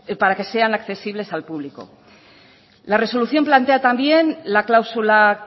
para sean accesibles al público la resolución plantea también la cláusula